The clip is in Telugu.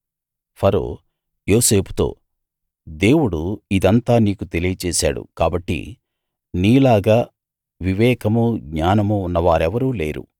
ఫరో యోసేపుతో దేవుడు ఇదంతా నీకు తెలియచేశాడు కాబట్టి నీలాగా వివేకమూ జ్ఞానమూ ఉన్న వారెవరూ లేరు